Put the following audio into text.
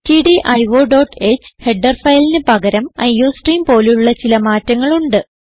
stdioഹ് header ഫയലിന് പകരം iostream പോലുള്ള ചില മാറ്റങ്ങൾ ഉണ്ട്